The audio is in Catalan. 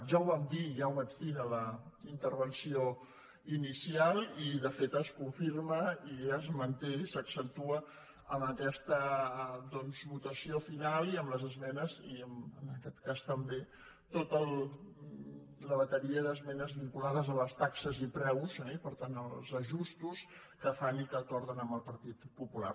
ja ho vam dir ja ho vaig dir en la intervenció inicial i de fet es confirma i es manté i s’accentua en aquesta votació final i en les esmenes i en aquest cas també en tota la bateria d’esmenes vinculades a les taxes i preus i per tant als ajustos que hi fan i que acorden amb el partit popular